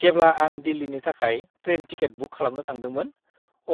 जेब्ला आं दिल्लीनि थाखाय ट्रेन टिकेट बुक खालामनो थांदोंमोन,